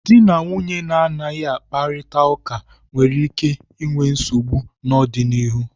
Dị na nwunye na-anaghị akparita ụka nwere ike inwe nsogbu n'ọdịnihu.